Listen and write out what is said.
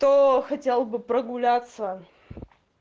то хотел бы прогуляться